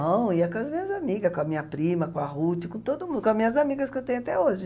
Não, ia com as minhas amigas, com a minha prima, com a Ruth, com todo mun, com as minhas amigas que eu tenho até hoje.